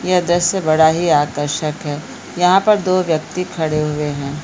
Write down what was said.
यह दृश्य बड़ा ही आकर्षक है | यहाँ पर दो व्यक्ति खड़े हुए हैं ।